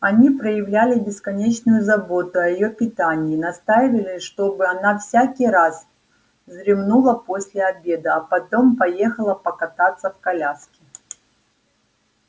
они проявляли бесконечную заботу о её питании настаивали чтобы она всякий раз вздремнула после обеда а потом поехала покататься в коляске